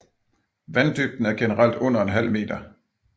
Vanddybden er generelt under en halv meter